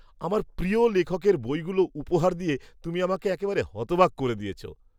আমার প্রিয় লেখকের বইগুলো উপহার দিয়ে তুমি আমাকে একেবারে হতবাক করে দিয়েছো!